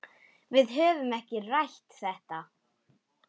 Við höfum ekki rætt þetta.